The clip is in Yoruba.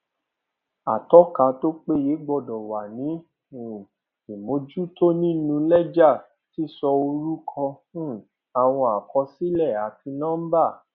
atọka tó péye gbọdọ wà ní um ìmójútó nínú lẹjà sísọ orúkọ um àwọn àkọsílẹ àti nọmbà